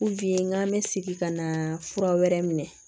k'an bɛ segin ka na fura wɛrɛ minɛ